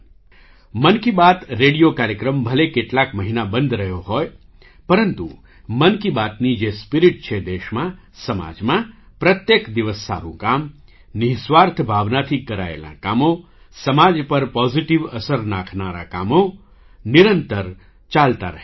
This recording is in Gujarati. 'મન કી બાત' રેડિયો કાર્યક્રમ ભલે કેટલાક મહિના બંધ રહ્યો હોય પરંતુ 'મન કી બાત'ની જે સ્પિરિટ છે દેશમાં સમાજમાં પ્રત્યેક દિવસ સારું કામ નિઃસ્વાર્થ ભાવનાથી કરાયેલાં કામો સમાજ પર પૉઝિટિવ અસર નાખનારાં કામો નિરંતર ચાલતાં રહે